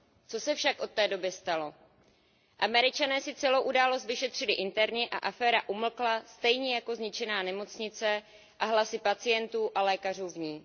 Co se však od té doby stalo? Američané si celou událost vyšetřili interně a aféra umlkla stejně jako zničená nemocnice a hlasy pacientů a lékařů v ní.